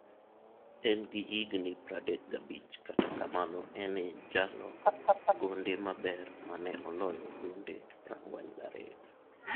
En gi higni 35 kata kamano en e jalo gonde maber mane oloyo gonde 42.